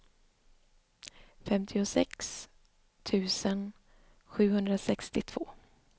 femtiosex tusen sjuhundrasextiotvå